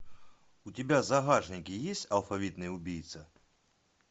у тебя в загашнике есть алфавитный убийца